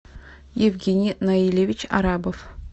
евгений наилевич арабов